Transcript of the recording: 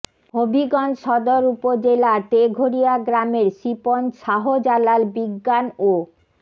হবিগঞ্জ সদর উপজেলার তেঘরিয়া গ্রামের শিপন শাহজালাল বিজ্ঞান ও